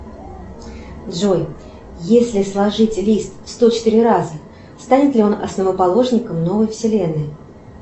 джой если сложить лист сто четыре раза станет ли он основоположником новой вселенной